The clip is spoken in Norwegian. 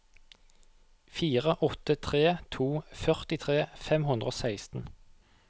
fire åtte tre to førtitre fem hundre og seksten